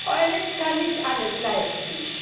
Die EULEX kann nicht alles leisten.